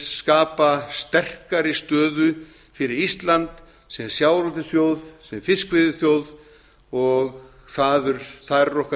skapa sterkari stöðu fyrir ísland sem sjávarútvegsþjóð sem fiskveiðiþjóð og þar er okkar